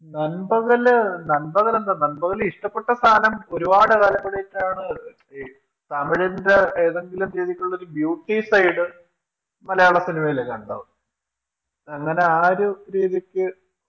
നൻപകല്, നൻപകൽ എന്താ നൻപകൽ ഇഷ്ട്ടപ്പെട്ട സ്ഥാനം ഒരുപാട് കാലം അഭിനയിച്ചാണ് ഈ തമിഴിന്റെ ഏതെങ്കിലും രീതിക്കുള്ള ഒരു Beautyside മലയാള സിനിമ യിലുകണ്ടത് അങ്ങനെ ആ ഒരു രീതിക്ക്